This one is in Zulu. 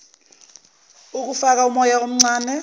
ukufaka umoya omncane